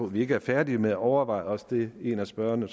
vi ikke er færdige med at overveje også det en af spørgerne